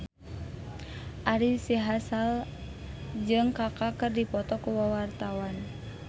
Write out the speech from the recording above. Ari Sihasale jeung Kaka keur dipoto ku wartawan